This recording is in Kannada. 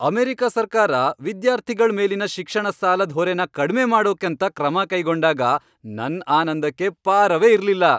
ಅಮೆರಿಕ ಸರ್ಕಾರ ವಿದ್ಯಾರ್ಥಿಗಳ್ ಮೇಲಿನ ಶಿಕ್ಷಣ ಸಾಲದ್ ಹೊರೆನ ಕಡ್ಮೆ ಮಾಡೋಕಂತ ಕ್ರಮ ಕೈಗೊಂಡಾಗ ನನ್ ಆನಂದಕ್ಕೆ ಪಾರವೇ ಇರ್ಲಿಲ್ಲ.